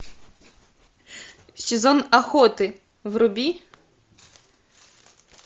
сезон охоты вруби